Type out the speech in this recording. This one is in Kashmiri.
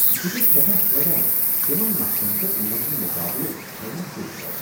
بہٕ چھس سیٹھاہ حیران تمن مسلن پیٹھ یمن ہُند مقابلہ چھلنہٕ سۭتۍ گوٚو۔